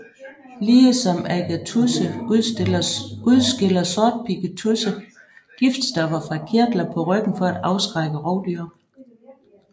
Ligesom agatudse udskiller sortpigget tudse giftstoffer fra kirtler på ryggen for at afskrække rovdyr